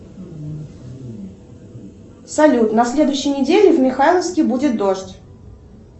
салют на следующей неделе в михайловске будет дождь